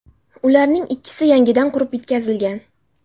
Ularning ikkisi yangidan qurib bitkazilgan.